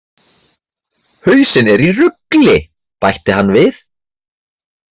Hausinn er í rugli! bætti hann við.